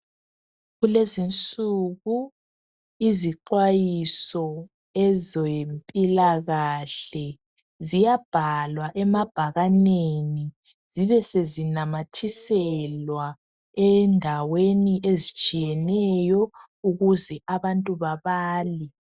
Kulezi insuku izixwayiso ezempilakahle ziyabhalwa emabhakaneni zibe sezinamathiselwa endaweni ezitshiyeneyo ukuze abantu babale.